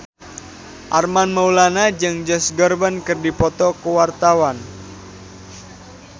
Armand Maulana jeung Josh Groban keur dipoto ku wartawan